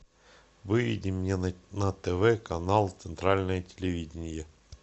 выведи мне на тв канал центральное телевидение